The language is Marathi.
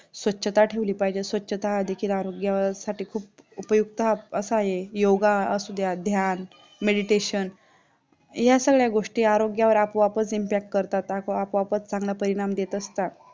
स्वच्छता ठेवली पाहिजे, स्वच्छता देखील आरोग्य साठी खूप उपयुक्त असा येई योगा असू द्या, ध्यान, meditation या सगळ्या गोष्टी आरोग्यावर आपोआपच impact करतात, आपोआपच चांगलं परिणाम देत असतात